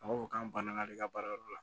A b'a fɔ k'an banana de ka baara yɔrɔ la